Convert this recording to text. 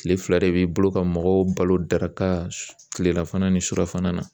Kile fila de b'i bolo ka mɔgɔw balo daraka tilela fana ni surafana na